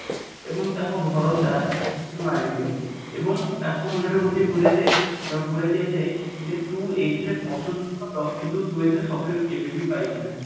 ଏବଂ ତାର ଭରସା ମାରିଦିଅନ୍ତି ଏବଂ ତାଙ୍କ ମୁଣ୍ଡରେ ଗୋଟେ ପୁରେଇ ଯାଏ ପୁରେଇ ଦିଆଯାଏ ତୁ ଏଇଥିରେ ପଶୁଛୁ ସତ କିନ୍ତୁ ତୁ ଏଇଥିରେ success କେବେବି ପାଇବୁ ନାହିଁ